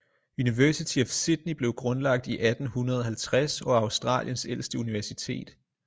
University of sydney blev grundlagt i 1850 og er australiens ældste universitet